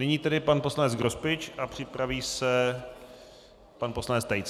Nyní tedy pan poslanec Grospič a připraví se pan poslanec Tejc.